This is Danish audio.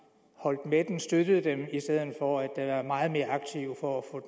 holdt med dem støttet dem i stedet for at være meget mere aktive for at få